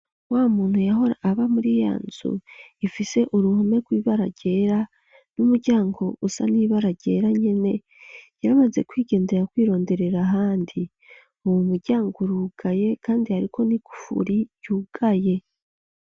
Wa muntu yahora aba muri ya nzu ifise uruhome rw'ibara ryera n'umuryango usa nibarageranye ne yaramaze kwigendera kwironderera ahandi uwo muryango rugaye kandi ariko ni kufuri yugaye.